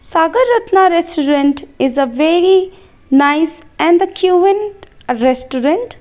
sagar ratna restaurant is a very nice and the restaurant.